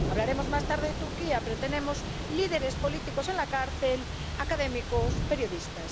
Hablaremos más tarde de Turquía, pero tenemos líderes políticos en la cárcel, académicos, periodistas.